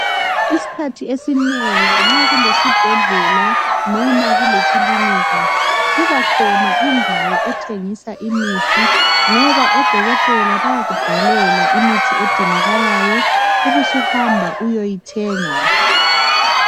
Isikhathi esinengi nxa kulesibhedlela, noma kulekilinika. Kubakhona indawo ethengisa imithi, ngoba odokotela bayakubhalela, imithi edingakalayo. Ubusuhamba uyoyithenga.